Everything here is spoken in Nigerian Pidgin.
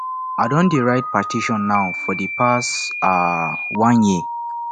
i don dey write petition now for the past um one year